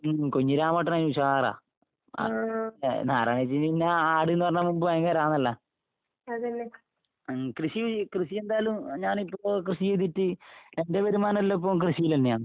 ഉം കുഞ്ഞിരാമേട്ടനതിന് ഉഷാറാ. അഹ് എഹ് നാരായണിയേച്ചിക്ക് പിന്നെ ആട്ന്ന് പറഞ്ഞാ . ഉം കൃഷി കൃഷി എന്തായാലും എ ഞാനിപ്പോ കൃഷി ചെയ്തിട്ട് എന്റെ വരുമാനെല്ലാം ഇപ്പൊ കൃഷീലെന്നെയാ.